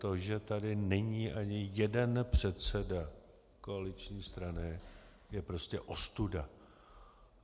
To, že tady není ani jeden předseda koaliční strany, je prostě ostuda.